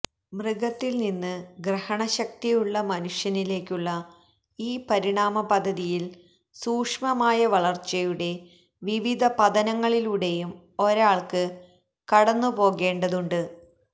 മൃഗത്തില്നിന്ന് ഗ്രഹണശക്തിയുള്ള മനുഷ്യനിലേക്കുള്ള ഈ പരിണാമപദ്ധതിയില് സൂക്ഷ്മമായ വളര്ച്ചയുടെ വിവിധ പതനങ്ങളിലൂടെയും ഒരാള്ക്ക് കടന്നുപോകേണ്ടതുണ്ട്